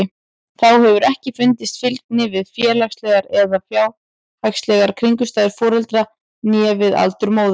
Þá hefur ekki fundist fylgni við félagslegar eða fjárhagslegar kringumstæður foreldra né við aldur móður.